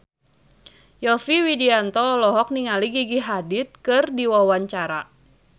Yovie Widianto olohok ningali Gigi Hadid keur diwawancara